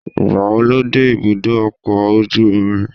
Ìgbàwo lo dé ibùdó ọkọ̀ ojú omi?